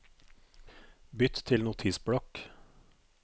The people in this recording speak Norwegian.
Bytt til Notisblokk